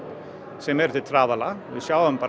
sem er til trafala við sjáum